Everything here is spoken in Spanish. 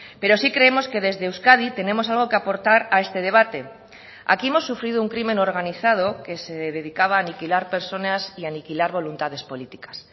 pero sí creemos que desde euskadi tenemos algo que aportar a este debate aquí hemos sufrido un crimen organizado que se dedicaba a aniquilar personas y aniquilar voluntades políticas